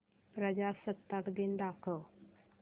प्रजासत्ताक दिन दाखव